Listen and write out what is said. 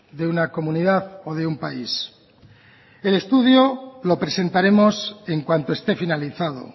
de una comunidad o de un país el estudio lo presentaremos en cuanto esté finalizado